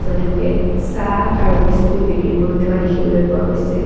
এজন লোকে চাহ আৰু বিস্কুট বিক্ৰী কৰি থকা দেখিবলৈ পোৱা গৈছে।